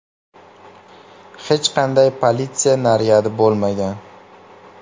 Hech qanday politsiya naryadi bo‘lmagan.